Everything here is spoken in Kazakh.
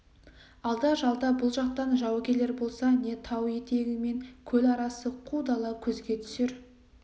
алда-жалда бұл жақтан жау келер болса не тау етегі мен көл арасы қу дала көзге түсер